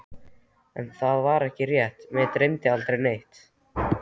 En það var ekki rétt, mig dreymdi aldrei neitt.